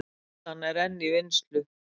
Skýrslan enn í vinnslu